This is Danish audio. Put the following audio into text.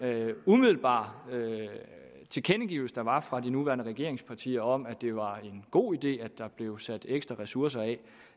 umiddelbare tilkendegivelse der var fra de nuværende regeringspartier om at det var en god idé at der blev sat ekstra ressourcer af